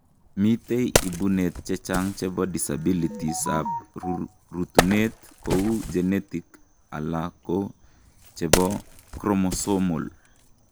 Miten ibunet chechang' chebo disabilities ab rutuunet, kouu genetic ala ko chebo chromosomal